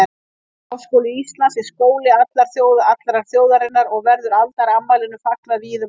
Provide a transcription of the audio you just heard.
Háskóli Íslands er skóli allrar þjóðarinnar og verður aldarafmælinu fagnað víða um land.